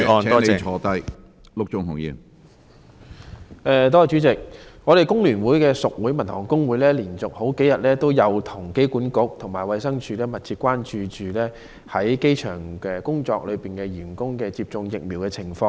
工聯會屬會香港民用航空事業職工總會連續數天與機管局和衞生署密切聯繫，關注在機場工作的員工的接種疫苗情況。